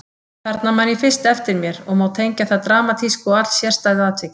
Þarna man ég fyrst eftir mér og má tengja það dramatísku og allsérstæðu atviki.